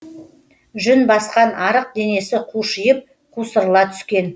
жүн басқан арық денесі қушиып қусырыла түскен